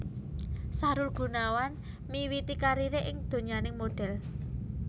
Sahrul Gunawan miwiti kariré ing donyaning modhel